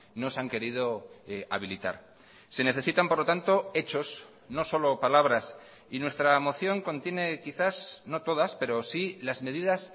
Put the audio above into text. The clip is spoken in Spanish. no se han querido habilitar se necesitan por lo tanto hechos no solo palabras y nuestra moción contiene quizás no todas pero sí las medidas